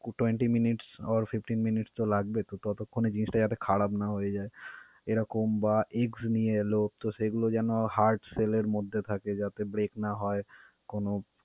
tweenty minutes or fifteen minutes তো লাগবে তো ততক্ষণে জিনিসটা যাতে খারাপ না হয়ে যায়. এরকম বা eggs নিয়ে এলো, তো সেইগুলো যেনো hard shield এর মধ্যে থাকে যাতে break না হয় কোনো.